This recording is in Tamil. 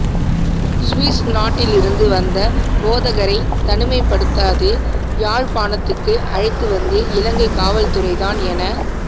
சுவிஸ் நாட்டிலிருந்து வந்த போதகரை தனிமைப்படுத்தாது யாழ்ப்பாணத்துக்கு அழைத்துவந்து இலங்கை காவல்துறை தான் என